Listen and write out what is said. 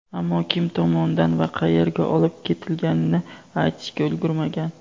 ammo kim tomonidan va qayerga olib ketilganini aytishga ulgurmagan.